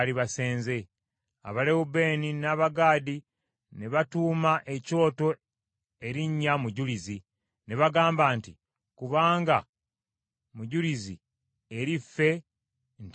Abalewubeeni n’Abagaadi ne batuuma ekyoto erinnya Mujulizi, ne bagamba nti, “Kubanga mujulizi eri ffe nti Mukama ye Katonda.”